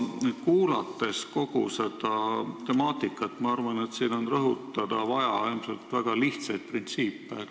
Kuulanud kogu seda keskustelu, arvan ma, et rõhutada on ilmselt vaja väga lihtsaid printsiipe.